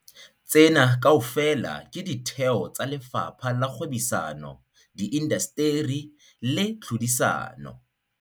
Tsena kaofela ke ditheo tsa Lefapha la Kgwebisano, Di indasteri le Tlhodisano.